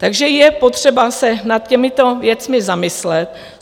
Takže je potřeba se nad těmito věcmi zamyslet.